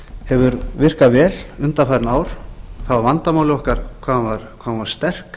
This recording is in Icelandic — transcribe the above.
hefur virkað vel undanfarin ár það var vandamálið okkar hvað hún var sterk